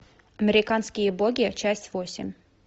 американские боги часть восемь